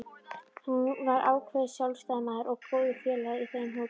Hann var ákveðinn sjálfstæðismaður og góður félagi í þeim hópi.